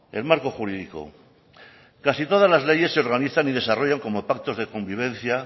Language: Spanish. el marco jurídico casi todas las leyes se organizan y desarrollan como pactos de convivencia